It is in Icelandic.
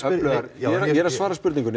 ég er að svara spurningunni